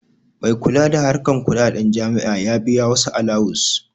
Mai kula da harkan kuɗaɗen jami'a ya biya wasu alawus